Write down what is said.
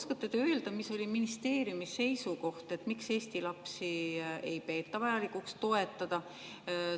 Kas te oskate öelda, mis oli ministeeriumi seisukoht, miks ei peeta vajalikuks Eesti lapsi toetada?